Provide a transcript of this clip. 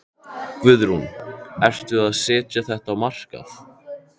Guðrún: Ertu að setja þetta á markað?